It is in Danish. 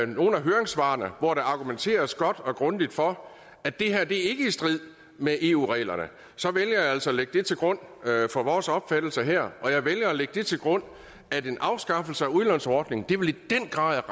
nogle af høringssvarene hvor der argumenteres godt og grundigt for at det her ikke er i strid med eu reglerne så vælger jeg altså at lægge det til grund for vores opfattelse her og jeg vælger at lægge det til grund at en afskaffelse af udlånsordningen i den grad